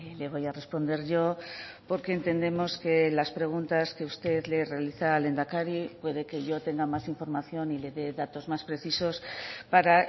le voy a responder yo porque entendemos que las preguntas que usted le realiza al lehendakari puede que yo tenga más información y le de datos más precisos para